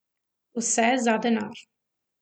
Vse za denar.